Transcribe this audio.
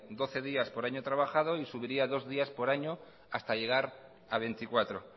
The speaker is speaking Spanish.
doce días por año trabajado y subiría dos días por año hasta llegar a veinticuatro